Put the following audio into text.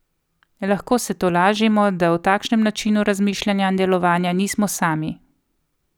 Lahko se tolažimo, da v takšnem načinu razmišljanja in delovanja nismo sami.